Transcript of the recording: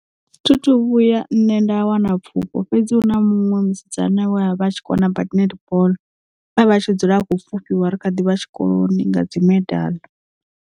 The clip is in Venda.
Thi thu vhuya nṋe nda wana pfufho fhedzi hu na muṅwe musidzana we a vha a tshi kona badi netball we avha a tshi dzula akho pfufhiwa ri khaḓivha tshikoloni nga dzimedala.